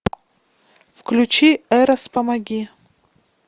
включи эрос помоги